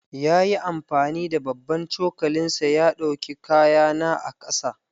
Ya yi amfani da babban cokalinsa ya ɗauki kayana ƙasa.